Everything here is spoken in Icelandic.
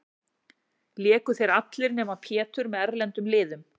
Léku þeir allir, nema Pétur, með erlendum liðum.